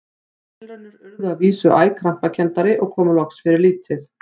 Þær tilraunir urðu að vísu æ krampakenndari og komu loks fyrir lítið.